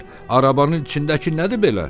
"Arabanın içindəki nədir belə?"